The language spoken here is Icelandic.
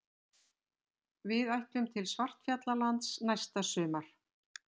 Við ætlum til Svartfjallalands næsta sumar.